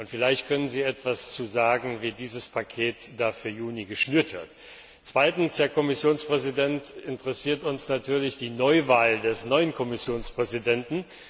Vielleicht können Sie etwas dazu sagen, wie dieses Paket für Juni geschnürt wird. Zweitens, Herr Kommissionspräsident, interessiert uns natürlich die Neuwahl des neuen Kommissionspräsidenten.